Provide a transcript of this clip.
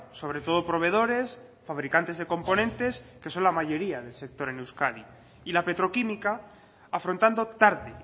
sobre todo proveedores fabricantes de componentes que son la mayoría en el sector en euskadi y la petroquímica afrontando tarde